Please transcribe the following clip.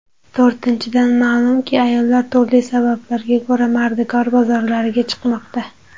To‘rtinchidan, ma’lumki, ayollar turli sabablarga ko‘ra mardikor bozorlariga chiqmoqda.